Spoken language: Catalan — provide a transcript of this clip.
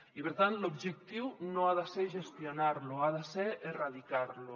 i per tant l’objectiu no ha de ser gestionar lo ha de ser erradicar lo